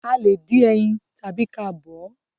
a lẹ dín ẹyin tàbi ka bọ̀ ọ́